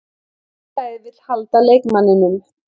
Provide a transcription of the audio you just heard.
Félagið vill halda leikmanninum.